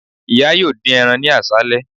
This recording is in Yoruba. Iya yoo din eran ni aṣalẹ